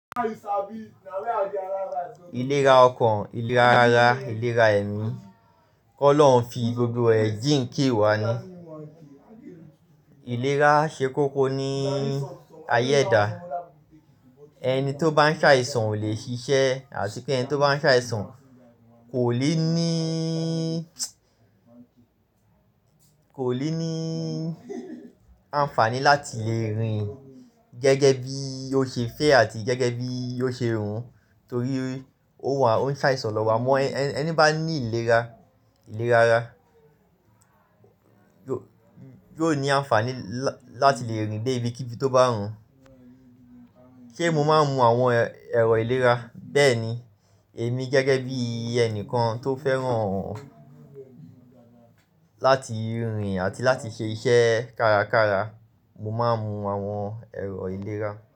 Iléra ọkàn, ìlera ara, ìlera ẹ̀mí. Kọ́ lọ̀ọ́ ń fi gbogbo ẹ̀jìn ké wá ni. Ìlera ṣe kókó ní ayé ẹ̀dá. Ẹni tó bá ń ṣàìsàn ò lè ṣiṣẹ́ àti pé ẹni tó bá ń ṣàìsàn kò lè ní, kò lè ní àǹfààní láti lè rìn gẹ́gẹ́ bí ó ṣe fẹ́ àti gẹ́gẹ́ bí ò ṣe hùn torí ó wà, ó ń ṣàìsàn lọ́wọ́. Mọ ẹni bá ní ìlera, ìlera ara yóò, yóò ní àǹfààní lá-láti lè rìn dé ibi kíbí tó bá hùn. Ṣé mo máa ń mu àwọn ẹ̀rọ ìlera? Bẹ́ẹ̀ni, èmi gẹ́gẹ́ bí ẹni kan tó fẹ́ràn láti rìn àti láti ṣe iṣẹ́ kárakára, mo máa ń mu àwọn ẹ̀rọ ìlera.